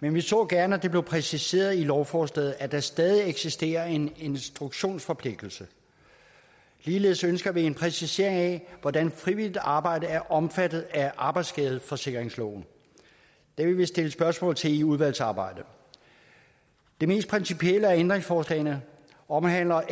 men vi så gerne at det blev præciseret i lovforslaget at der stadig eksisterer en instruktionsforpligtelse ligeledes ønsker vi en præcisering af hvordan frivilligt arbejde er omfattet af arbejdsskadeforsikringsloven det vil vi stille spørgsmål til i udvalgsarbejdet det mest principielle af ændringsforslagene omhandler